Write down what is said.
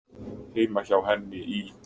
Heima hjá henni í